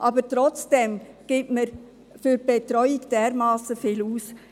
aber trotzdem gibt man für die Betreuung dermassen viel aus.